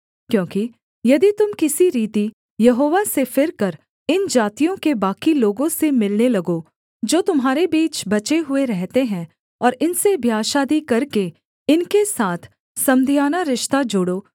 क्योंकि यदि तुम किसी रीति यहोवा से फिरकर इन जातियों के बाकी लोगों से मिलने लगो जो तुम्हारे बीच बचे हुए रहते हैं और इनसे ब्याह शादी करके इनके साथ समधियाना रिश्ता जोड़ो